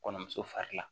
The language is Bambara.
Kɔnɔmuso fari la